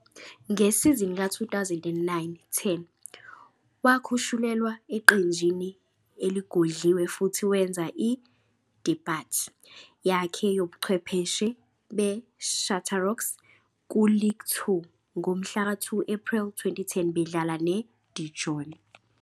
Ngesizini ka-2009-10 wakhushulelwa eqenjini eligodliwe futhi wenza i-debut yakhe yobuchwepheshe beChâteauroux kuLigue 2 ngomhla ka-2 Ephreli 2010 bedlala neDijon.